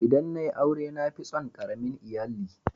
ldan na yi aure na fi tson karamin lyalli.